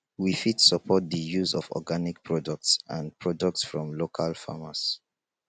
we fit support di use of organic products and products from local farmers